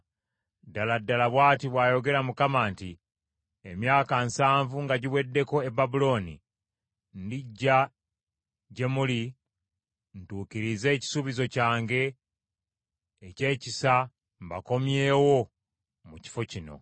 Ddala ddala bw’ati bw’ayogera Mukama nti, “Emyaka nsanvu nga giweddeko e Babulooni, ndijja gye muli ntuukirize ekisuubizo kyange eky’ekisa mbakomyewo mu kifo kino.